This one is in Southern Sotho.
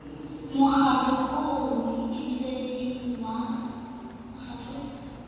mokgatlo oo e seng wa